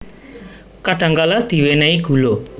Kadhangkala diwènèhi gula